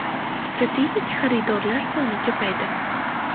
Strategik xaridorlar soni ko‘paydi.